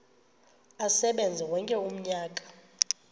asebenze wonke umnyaka